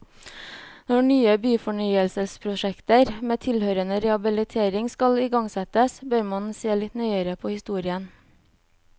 Når nye byfornyelsesprosjekter med tilhørende rehabilitering skal igangsettes, bør man se litt nøyere på historien.